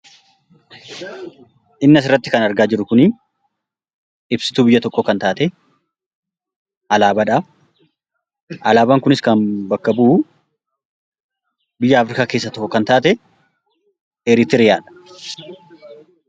Inni asirratti kan argaa jirru ibsituu biyya tokkoo kan taate alaabaadha. Alaabaan kunis, kan bakka bu'u biyya Afrikaa keessaa tokko kan taate Eritiriyaadha.